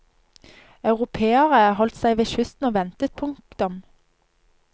Europeerne holdt seg ved kysten og ventet. punktum